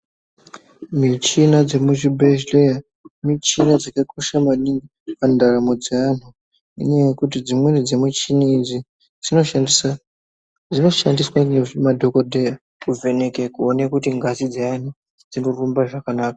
Michina dzemuzvibhedlee michina dzakakosha maningi mundaramo dzeanhuinyaya yekuti dzimweni dzemuchini idzi dzinoshandisa dzinoshandiswa ngema dhokodheya kuvheneke kuone kuti ngazi dzeani dzinorumbe zvakanaka.